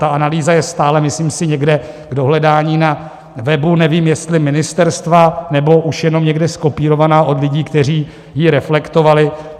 Ta analýza je stále, myslím si, někde k dohledání na webu, nevím, jestli ministerstva, nebo už jenom někde zkopírovaná od lidí, kteří ji reflektovali.